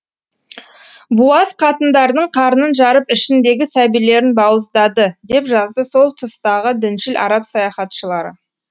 буаз қатындардың қарнын жарып ішіндегі сәбилерін бауыздады деп жазды сол тұстағы діншіл араб саяхатшылары